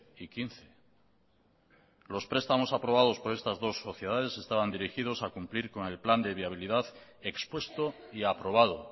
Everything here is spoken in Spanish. y quince los prestamos aprobados por estas dos sociedades estaban dirigidos a cumplir con el plan de viabilidad expuesto y aprobado